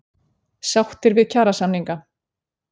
Sáttir við kjarasamninga